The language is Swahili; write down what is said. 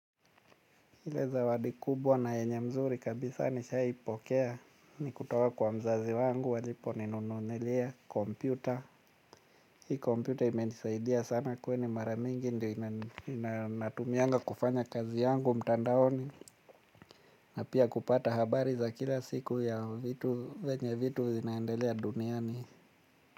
Ile zawadi kubwa na yenye nzuri kabisa nishawai pokea, ni kutoka kwa mzazi wangu waliponinunulia kompyuta. Hii kompyuta imenisaidia sana kwani mara mingi ndio natumiaga kufanya kazi yangu mtandaoni. Na pia kupata habari za kila siku ya venye vitu zinaendelea duniani.